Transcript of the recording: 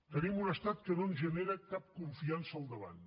tenim un estat que no ens genera cap confiança al davant